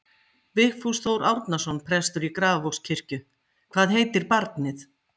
Vigfús Þór Árnason, prestur í Grafarvogskirkju: Hvað heitir barnið?